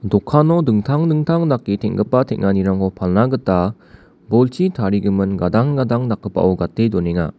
dokano dingtang dingtang dake teng·gipa tenganirangko palna gita bolchi tarigimin gadang gadang dakgipao gate donenga.